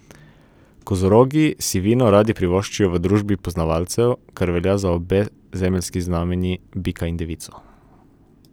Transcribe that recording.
Kozorogi si vino radi privoščijo v družbi poznavalcev, kar velja za obe zemeljski znamenji, bika in devico.